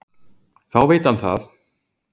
Þá veit hann það!